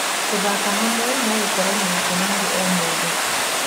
Gũthaka hamwe no gũkoro na gĩkeno harĩ o mũndũ.